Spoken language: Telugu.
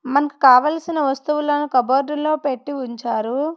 మనకు కావలసిన వస్తువులను కబోర్డ్ లో పెట్టి ఉంచారు.